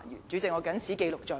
主席，我謹此記錄在案。